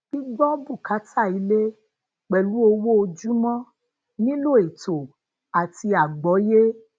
gbigbo bukata ile pelu owo ojumo nilo eto ati agboye